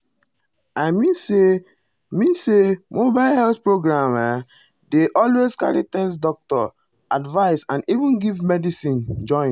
i mean say mean say mobile health program ah dey always carry test doctor advice and even give medicine join.